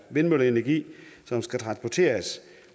vindmølleenergi som skal transporteres